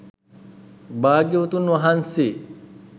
භාග්‍යවතුන් වහන්සේ